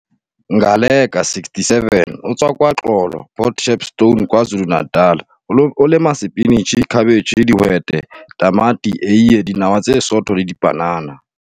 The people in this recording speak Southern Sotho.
Ngaleka, 67, o tswa KwaXolo, Port Shepstone, KwaZulu-Natal. O lema sepinitjhi, khabetjhe, dihwete, tamati, eie, dinawa tse sootho le dipanana.